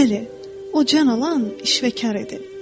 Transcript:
Bəli, o can alan işvəkar idi.